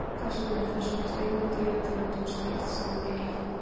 Hvers vegna eru þessum tveimur dýrategundum steypt saman í eitt nafn?